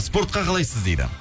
спортқа қалайсыз дейді